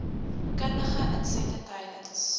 kundige insette tydens